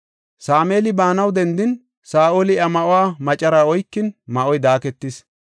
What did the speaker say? Sameeli baanaw dendin, Saa7oli iya ma7uwa macaraa oykin, ma7oy daaketis.